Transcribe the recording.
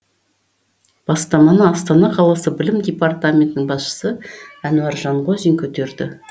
бастаманы астана қаласы білім департаментінің басшысы әнуар жанғозин көтерді